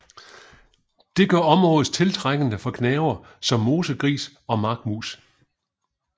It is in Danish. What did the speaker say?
Det gør området tiltrækkende for gnavere som mosegris og markmus